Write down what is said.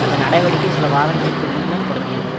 அந்த நடவடிக்கை சில வாரங்களுக்கு முன்னர் தொடங்கியது